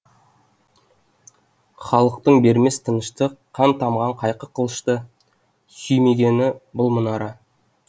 халықтың бермес тыныштық қан тамған қайқы қылышты сүймегені бұл мұнара